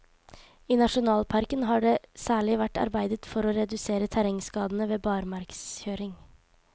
I nasjonalparken har det særlig vært arbeidet for å redusere terrengskadene ved barmarkskjøring.